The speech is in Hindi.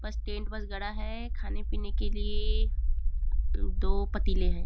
बस टेंट बस गड़ा है खाने- पीने के लिए दो पतीले है।